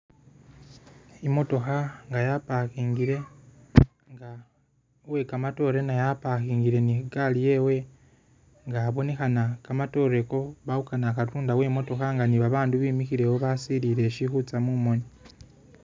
I'motokha nga ya parkingile, uwe kamatore naye aparkingile ni gaali yewe nga abonekhana kamatoore iko balikhukana katunda uwe i'motokha nga ni babandu bimikhilewo basilile shili khutsa mumoni.